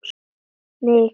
Mikið sakna ég hennar sárt.